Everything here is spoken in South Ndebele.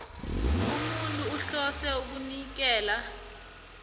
umuntu ohlose ukunikela